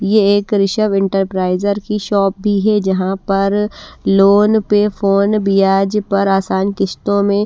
ये एक ऋषव इंटरप्राइज़र की शॉप भी है जहाँ पर लोन पे फोन ब्याज पर आसान किश्तों में--